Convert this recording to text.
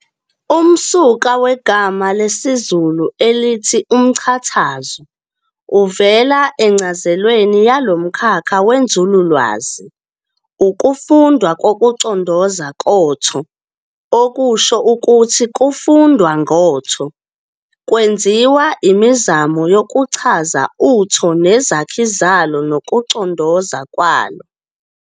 Umsuka wegama lesizulu elithi "umchazatho" uvela encazelweni yalomkhakha wenzululwazi, ukufindwa kokucondoza kotho, okusho ukuthi kufundwa ngotho, kwenziwa imizamo yokuchaza uTho nezakhi zalo nokucondoza kwalo.